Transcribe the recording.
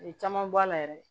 A ye caman bɔ a la yɛrɛ